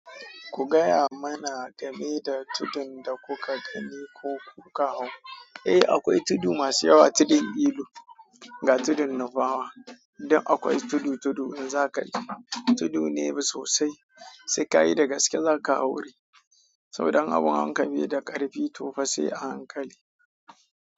Ku gaya mana game da tudun da kuka gani ko kuka hau. Eh akwai tudu masu yawa, tudun ilu, ga tudun nufawa. Duk akwai tudu-tudu in za ka je. Tudu ne sosai sai ka yi da gaske za ka haure. Saboda in abun hawan ka bai da ƙarfi to fa sai a hankali.